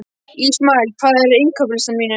Ísmael, hvað er á innkaupalistanum mínum?